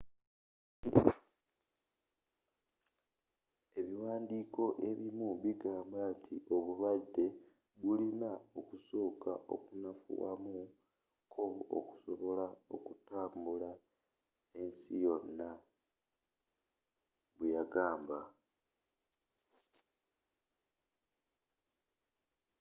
ebiwaandiko ebimu bigamba nti obulwadde bulina okusooka okunafuwa mu ko okusobola okutambula ensi yonna bwe yagamba